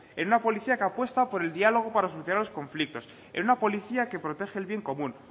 en una policía que apuesta por el diálogo para solucionar los conflictos en una policía que protege el bien común